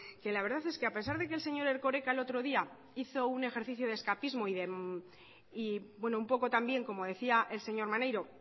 que la verdad es que a pesar de que el señor erkoreka el otro día hizo un ejercicio de escapismo y un poco también como decía el señor maneiro